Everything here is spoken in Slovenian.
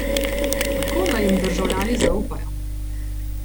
Kako naj jim državljani zaupajo?